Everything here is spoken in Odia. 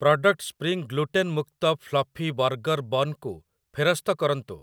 ପ୍ରଡ଼କ୍ଟ୍ ସ୍ପ୍ରିଙ୍ଗ୍ ଗ୍ଲୁଟେନ୍ ମୁକ୍ତ ଫ୍ଲଫି ବର୍ଗର୍ ବନ୍ କୁ ଫେରସ୍ତ କରନ୍ତୁ ।